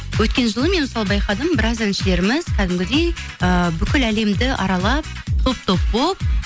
өткен жылы мен мысалы байқадым біраз әншілеріміз кәдімгідей ыыы бүкіл әлемді аралап топ топ болып